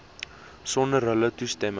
sonder hulle toestemming